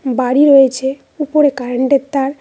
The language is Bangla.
বাড়ি রয়েছে উপরে কারেন্টের তার--।